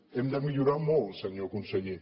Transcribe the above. hem de millorar molt senyor conseller